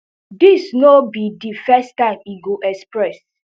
these no be di first time e go express